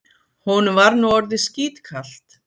Honum var nú orðið skítkalt.